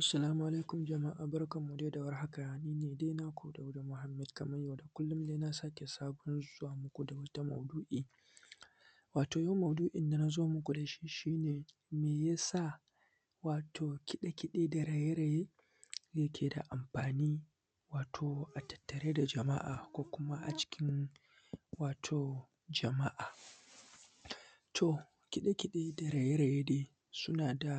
Assalamu alaikum jama’a barkanmu dai da warhaka ni ne dai naku Dauda Muhammad kamar yau da kullum na sake zuwa muku da wata mau’du’i, watan yau maudu’in na zo muku da shi ne me ya sa wato kiɗe-kiɗe da raye-raye yake da amfani? Wato a tattare da jama’a ko kuma a cikin wato jama’a to kiɗe-kiɗe da raye-raye dai na da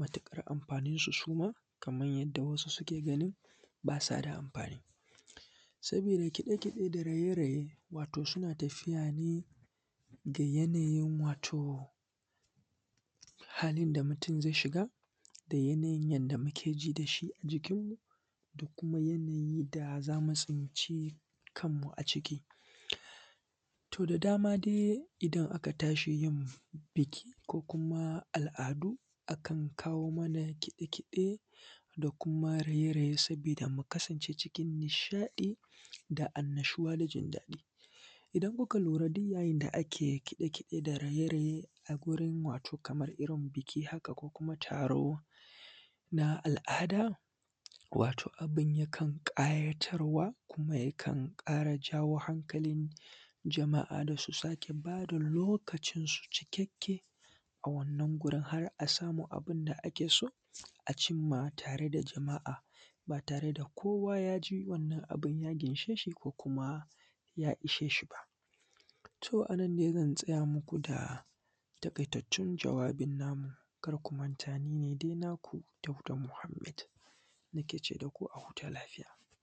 matuƙar amfanin shi, shi ma kamar yadda wasu suke ganin shi, shi ma ba sa da amfani saboda kaɗe-kaɗe da raye-raye. Wato, suna tafiya ne da yanayin wato halin da mutum zai shiga da yanayin yanda muke ji da shi a jikinmu da kuma yanayi da za mu tsinci kanmu a ciki, to da dama dai idan aka tashi yin biki ko kuma al’adu a kan kawo amma kide-kide da kuma raye-raye saboda mu kasance cikin nishaɗi da annashuwa da jindaɗi. Idan muka lura duk yayin da ake kiɗe-kiɗe, kiɗa da raye-raye a gurin wato kamar irin biki haka ko kuma taro na al’ada wato abun yakan ƙayatarwa kuma abun yakan ƙara jawo hankalin jama’a da su sake ba da lokacinsu cikakke. A wannan wurin har a samu abun da ake so a cin ma a tare da jama’a, ba tare da kowa ya ji wannan abun ya ginshe shi ko kuma ya ishe shi ba. To, a nan ne zan tsaya muku da taƙaitattun jawabin namu kar ku manta ni ne dai naku Dauda Muhammad nake ce da ku a huta lafiya.